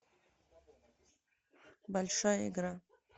большая игра